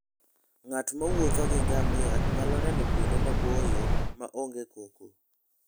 Ng'at mowuotho gi ngamia nyalo neno kuonde maboyo ma onge koko.